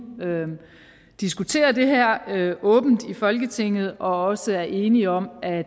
diskuterer det her åbent i folketinget og også er enige om at